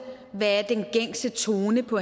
hvad den gængse tone på